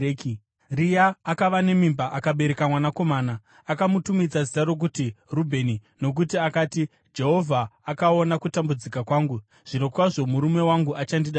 Rea akava nemimba akabereka mwanakomana. Akamutumidza zita rokuti Rubheni, nokuti akati, “Jehovha akaona kutambudzika kwangu. Zvirokwazvo murume wangu achandida zvino.”